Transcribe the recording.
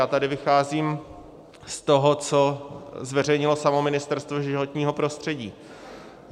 A tady vycházím z toho, co zveřejnilo samo Ministerstvo životního prostředí.